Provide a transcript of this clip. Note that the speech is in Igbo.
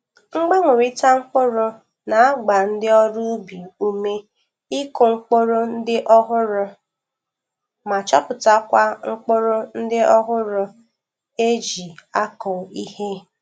Mgbanwerita mkpụrụ na-agba ndi ọrụ ubi ume ikụ mpụrụ ndị ọhụrụ ma chọpụtakwa ụkpụrụ ndị ọhụrụ e ji akọ ihe.